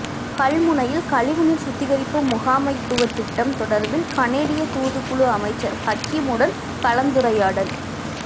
கல்முனையில் கழிவுநீர் சுத்திகரிப்பு முகாமைத்துவ திட்டம் தொடர்பில் கனேடிய தூதுக்குழு அமைச்சர் ஹக்கீமுடன் கலந்துரையாடல்